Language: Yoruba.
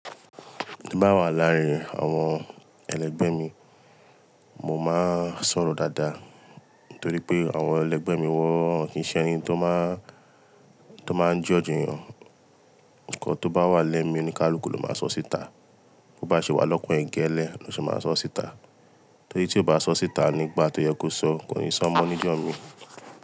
Tí n bá wà láàárín àwọn ẹlẹgbẹ́ mi, mo máa ń sọ̀rọ̀ dáadáa. Nítorí pé àwọn ẹlẹgbẹ́ mi wọn kì í ṣe ẹni tó máa ń, tó máa ń judge èèyàn. Nǹkan tó bá wà lẹ́mìí oníkálukú ló máa sọ síta. Bo bá ṣe wà ṣe wà lọ́kàn ẹ̀ gẹ́lẹ́ ló ṣe máa sọọ́ síta. Torí tí ò bá sọọ́ síta nígbà tó yẹ kó sọọ́ kò ní sọọ́ mọ́ níjọ́ míì.